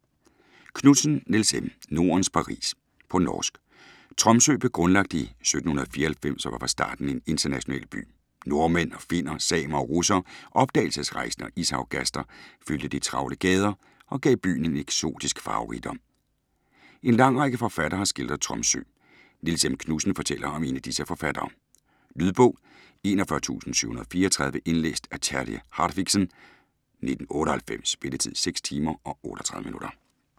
Knutsen, Nils M.: Nordens Paris På norsk. Tromsø blev grundlagt i 1794 og var fra starten en international by. Nordmænd og finner, samer og russere, opdagelsesrejsende og ishavsgaster fyldte de travle gader og gav byen en eksotisk farverigdom. En lang række forfattere har skildret Tromsø. Nils M. Knutsen fortæller om disse forfattere. Lydbog 41734 Indlæst af Terje Hartviksen, 1998. Spilletid: 6 timer, 38 minutter.